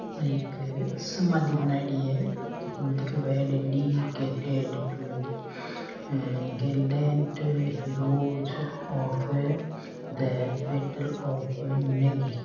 या एक समादी बनायेड़ी है --